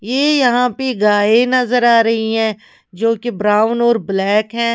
ये यहां पे गाय नजर आ रही है जो कि ब्राउन और ब्लैक है।